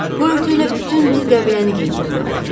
Bu örtüklə bütün bir qəbiləni geyindirmək olar.